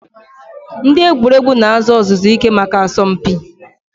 Ndị egwuregwu na-azụ ọzụzụ ike maka asọmpi.